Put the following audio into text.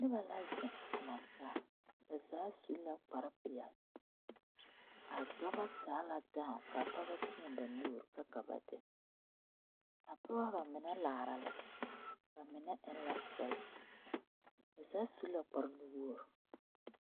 Noba la zeŋ a laŋ taa ba zaa su la kparre peɛle a dɔba taa la daa ka pɔge ba teɛ ba nuuri a pɔgeba ba mine laara la ba mine eŋ la sipesi ba zaa su la kparre nuwogri.